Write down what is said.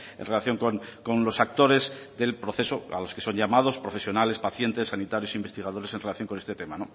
en relación con los actores del proceso a los que son llamados profesionales pacientes sanitarios investigadores en relación con este tema